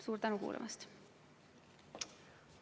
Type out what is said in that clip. Suur tänu kuulamast!